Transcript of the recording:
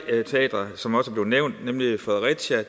teatre som også er blevet nævnt nemlig i fredericia